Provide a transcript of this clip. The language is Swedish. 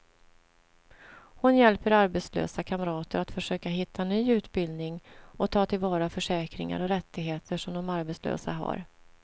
Hon hjälper arbetslösa kamrater att försöka hitta ny utbildning och ta till vara försäkringar och rättigheter som de som arbetslösa har.